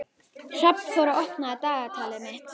Hrafnþór, opnaðu dagatalið mitt.